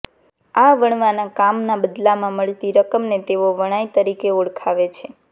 આ વણવાના કામના બદલામાં મળતી રકમને તેઓ વણાઈ તરીકે ઓળખાવે છે